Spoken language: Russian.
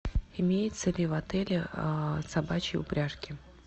имеются ли в отеле собачьи упряжки